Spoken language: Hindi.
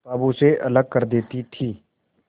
किताबों से अलग कर देती थी